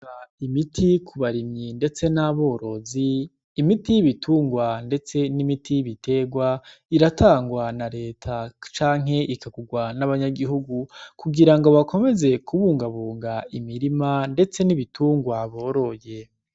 Imiti ku barimyi, ndetse n'aborozi imiti y'ibitungwa, ndetse n'imiti y'ibiterwa iratangwa na leta canke ikagurwa n'abanyagihugu kugira ngo bakomeze kubungabunga imirima, ndetse n'ibitungwa boroye.